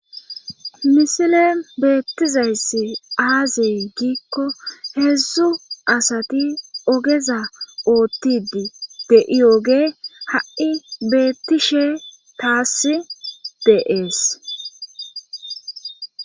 misile beettizayssi aazey giikko heedzdzu asati ogeza oottidi de'iyogey ha'i beettishe taas de'es.